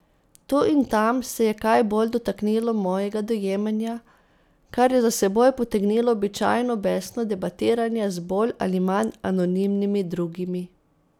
Tu in tam se je kaj bolj dotaknilo mojega dojemanja, kar je za seboj potegnilo običajno besno debatiranje z bolj ali manj anonimnimi drugimi.